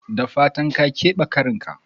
Da fatan ka kebe karinka?